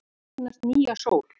Jörðin eignast nýja sól